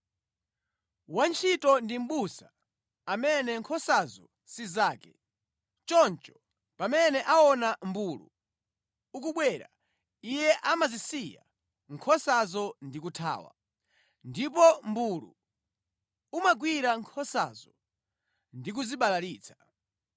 Wantchito ndi mʼbusa amene nkhosazo si zake. Choncho, pamene aona mmbulu ukubwera, iye amazisiya nkhosazo ndi kuthawa. Ndipo mmbulu umagwira nkhosazo ndikuzibalalitsa.